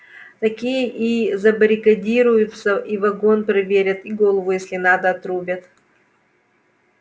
такие и забаррикадируются и вагон проверят и голову если надо отрубят